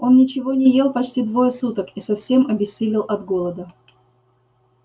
он ничего не ел почти двое суток и совсем обессилел от голода